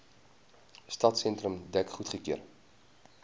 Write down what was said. stadsentrum dek goedgekeur